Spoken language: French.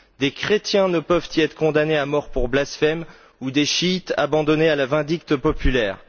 Des chrétiens ne peuvent y être condamnés à mort pour blasphème ou des chiites abandonnés à la vindicte populaire.